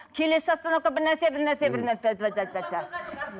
келесі остановка бірнәрсе бірнәрсе бірнәрсе